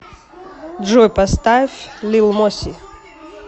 джой поставь лил моси